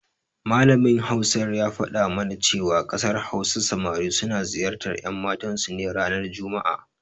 Malamin Hausar ya faɗa mana cewa a ƙasar Hausa samari suna ziyartar ƴanmatansu ne ranar juma'a.